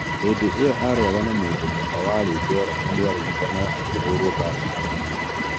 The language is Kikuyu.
Hĩndĩ ĩyo arũaga na mũndû mũka warĩ njerainĩ na nĩararĩrĩka akĩhũrũo mbara ya magegania.